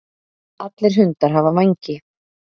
Allir hundar hafa vængi.